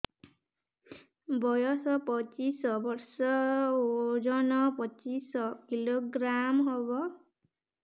ବୟସ ପଚିଶ ବର୍ଷ ଓଜନ ପଚିଶ କିଲୋଗ୍ରାମସ ହବ